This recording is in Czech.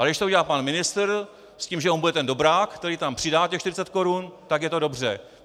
Ale když to udělá pan ministr s tím, že on bude ten dobrák, který tam připadá těch 40 korun, tak je to dobře.